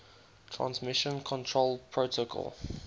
transmission control protocol